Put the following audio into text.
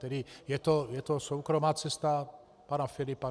Tedy je to soukromá cesta pana Filipa?